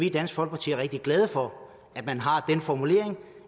i dansk folkeparti rigtig glade for at man har den formulering